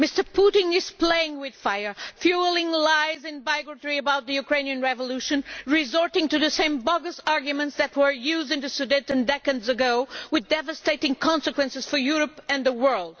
Mr Putin is playing with fire, fuelling lies and bigotry about the Ukrainian revolution and resorting to the same bogus arguments that were used in the Sudetenland decades ago, with devastating consequences for Europe and the world.